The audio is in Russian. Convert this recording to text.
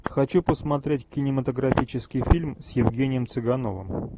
хочу посмотреть кинематографический фильм с евгением цыгановым